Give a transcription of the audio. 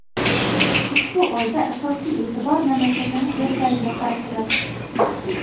ushbu oyda asosiy e’tibor mamlakatimiz yoshlariga qaratiladi.